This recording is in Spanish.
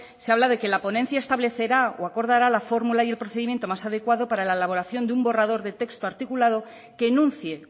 se habla de que la ponencia establecerá o acordará la formula y el procedimiento más adecuado para la elaboración de un texto articulado que enuncie